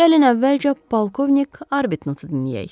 Gəlin əvvəlcə polkovnik Arbtnottu dinləyək.